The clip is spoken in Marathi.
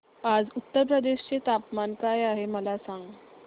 आज उत्तर प्रदेश चे तापमान काय आहे मला सांगा